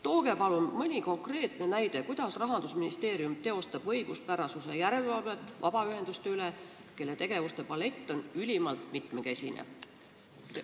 Tooge palun mõni konkreetne näide, kuidas Rahandusministeerium teostab õiguspärasuse järelevalvet vabaühenduste üle, kelle tegevuste palett on ülimalt mitmekesine.